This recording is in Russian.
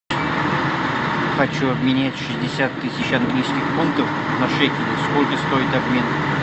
хочу обменять шестьдесят тысяч английских фунтов на шекели сколько стоит обмен